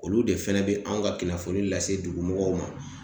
Olu de fɛnɛ be anw ka kunnafoni lase dugu mɔgɔw ma